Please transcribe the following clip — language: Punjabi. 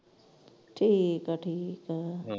ਠੀਕ ਆ ਠੀਕ ਆ।